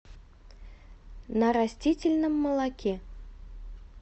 на растительном молоке